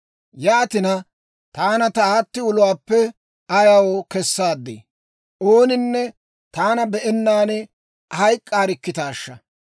«Yaatina, taana ta aatti uluwaappe ayaw kesaadii? Ooninne taana be'ennaan hayk'k'aarikkitaasha!